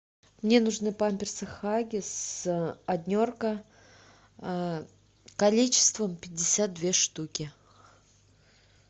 мне нужны памперсы хаггис однерка количеством пятьдесят две штуки